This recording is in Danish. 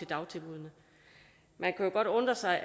dagtilbuddene man kan jo godt undre sig